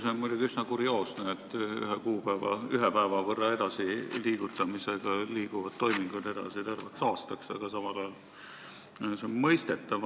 See on muidugi üsna kurioosne, et ühe kuupäeva ühe päeva võrra edasi liigutamisega liiguvad toimingud terveks aastaks edasi, aga samal ajal on see mõistetav.